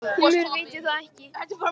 Því miður veit ég það ekki